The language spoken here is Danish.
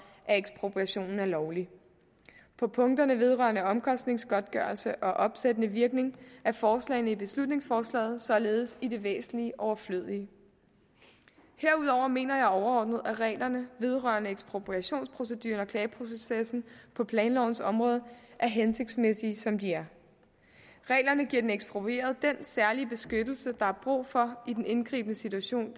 at ekspropriationen er lovlig på punkterne vedrørende omkostningsgodtgørelse og opsættende virkning er forslagene i beslutningsforslaget således i det væsentlige overflødige herudover mener jeg overordnet at reglerne vedrørende ekspropriationproceduren og klageprocessen på planlovens område er hensigtsmæssige som de er reglerne giver den eksproprieret den særlige beskyttelse der er brug for i den indgribende situation